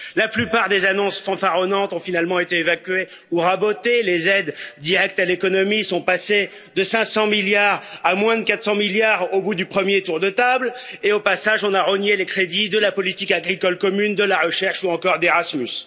La plupart des annonces fanfaronnantes ont finalement été évacués ou rabotées, les aides directes à l'économie sont passés de 500 milliards à moins de 400 milliards au bout du 1er tour de table et au passage on a rogné les crédits de la politique agricole commune, de la recherche, ou encore d'Erasmus.